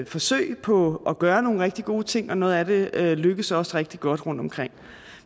forsøg på at gøre nogle rigtig gode ting og noget af det lykkes også rigtig godt rundtomkring